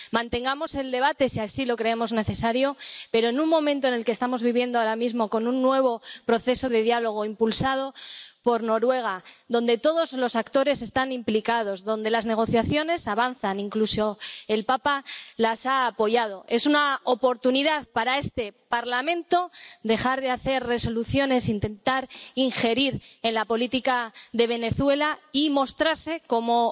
Mantengamos el debate si así lo creemos necesario, pero en un momento como el que estamos viviendo ahora mismo, con un nuevo proceso de diálogo impulsado por Noruega, donde todos los actores están implicados, donde las negociaciones avanzan —incluso el papa las ha apoyado—, este Parlamento tiene la oportunidad de dejar de hacer resoluciones, de no intentar injerir en la política de Venezuela y de mostrarse como